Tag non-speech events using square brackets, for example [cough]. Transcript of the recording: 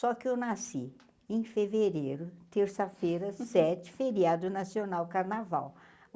Só que eu nasci em fevereiro terça-feira [laughs] sete feriado nacional carnaval.